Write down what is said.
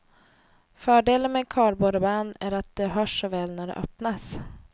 Fördelen med kardborrband är att det hörs så väl när det öppnas.